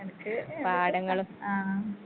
നിനക്ക് ആ.